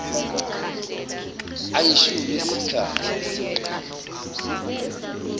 ayishumi esikhathi eseqile